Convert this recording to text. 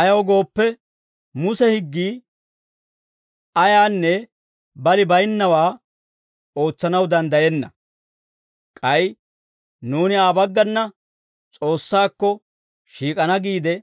Ayaw gooppe, Muse higgii ayaanne balay baynnawaa ootsanaw danddayenna; k'ay nuuni Aa baggana S'oossaakko shiik'ana giide